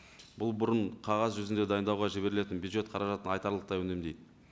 бұл бұрын қағаз жүзінде дайындауға жіберілетін бюджет қаражатын айтарлықтай үнемдейді